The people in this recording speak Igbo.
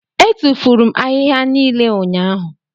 Etufuru m ahịhịa niile ụnyahụ.